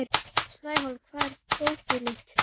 Snæhólm, hvar er dótið mitt?